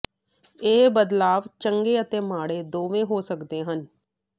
ਇਹ ਬਦਲਾਵ ਚੰਗੇ ਅਤੇ ਮਾੜੇ ਦੋਵੇਂ ਹੋ ਸਕਦੇ ਹਨ